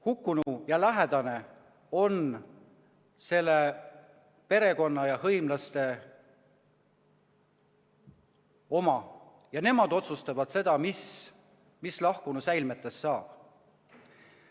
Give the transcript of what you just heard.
Hukkunud lähedane on perekonna ja hõimlaste oma ja nemad otsustavad seda, mis lahkunu säilmetest saab.